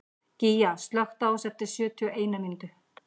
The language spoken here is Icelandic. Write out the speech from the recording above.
Gígja, slökktu á þessu eftir sjötíu og eina mínútur.